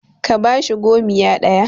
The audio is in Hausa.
ka bashi gomiya ɗaya!